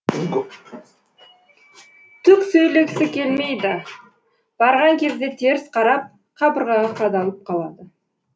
түк сөйлегісі келмейді барған кезде теріс қарап қабырғаға қадалып қалады